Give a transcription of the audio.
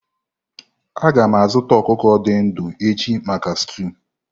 A ga m azụta ọkụkọ dị ndụ echi maka stúu.